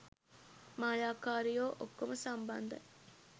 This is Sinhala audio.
මායාකාරියෝ ඔක්කොම සම්බන්ධයි